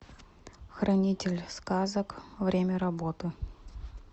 хранитель сказок время работы